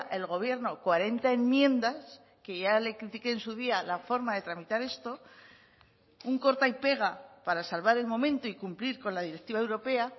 el gobierno cuarenta enmiendas que ya le critique en su día la forma de tramitar esto un corta y pega para salvar el momento y cumplir con la directiva europea